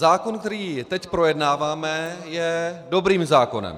Zákon, který teď projednáváme, je dobrým zákonem.